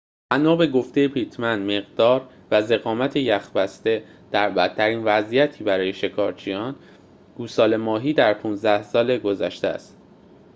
بنا به گفته پیتمن مقدار و ضخامت یخ بسته در بدترین وضعیتی برای شکارچیان گوساله ماهی در ۱۵ سال گذشته است